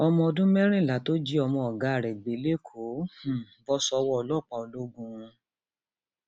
ọmọ ọdún mẹrìnlá tó jí ọmọ ọgá ẹ gbé lẹkọọ um bọ sọwọ ọlọpàá lọgùn um